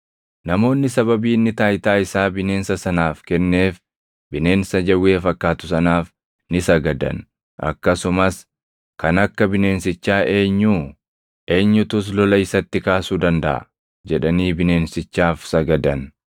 Namoonni sababii inni taayitaa isaa bineensa sanaaf kenneef bineensa jawwee fakkaatu sanaaf ni sagadan; akkasumas, “Kan akka bineensichaa eenyuu? Eenyutus lola isatti kaasuu dandaʼa?” jedhanii bineensichaaf sagadan.